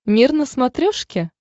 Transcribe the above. мир на смотрешке